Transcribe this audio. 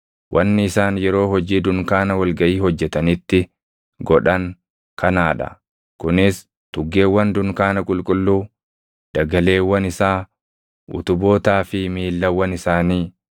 Wanni isaan yeroo hojii dunkaana wal gaʼii hojjetanitti godhan kanaa dha: kunis tuggeewwan dunkaana qulqulluu, dagaleewwan isaa, utubootaa fi miillawwan isaanii,